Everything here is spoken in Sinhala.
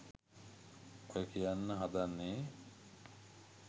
ඔය කියන්න හදන්නේ.